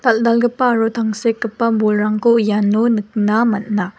dal·dalgipa aro tangsekgipa bolrangko iano nikna man·a.